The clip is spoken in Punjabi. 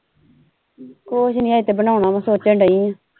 ਕੁਝ ਨਹੀਂ ਹਜੇ ਤੇ ਬਣਾਓਣਾ ਵਾ ਸੋਚਣ ਦਈ ਆ।